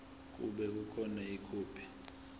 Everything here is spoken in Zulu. kube khona ikhophi